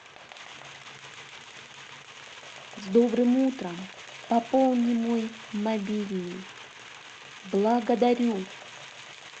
с добрым утром пополни мой мобильный благодарю